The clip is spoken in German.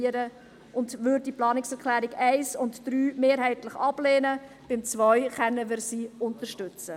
Deshalb würden wir die Planungserklärungen 1 und 3 mehrheitlich ablehnen, die zweite können wir unterstützen.